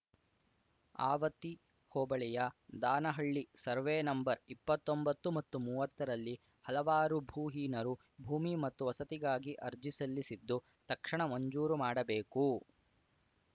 ಆವತಿ ಹೋಬಳಿಯ Danahalli survey number ಇಪ್ಪತ್ತೊಂಬತ್ತು ಮತ್ತು ಮೂವತ್ತರಲ್ಲಿ ಹಲವಾರು ಭೂಹೀನರು ಭೂಮಿ ಮತ್ತು ವಸತಿಗಾಗಿ ಅರ್ಜಿ ಸಲ್ಲಿಸಿದ್ದು ತಕ್ಷಣ ಮಂಜೂರು ಮಾಡಬೇಕು